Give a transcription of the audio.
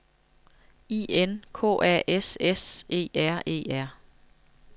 I N K A S S E R E R